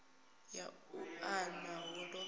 ya u unḓa hu ḓo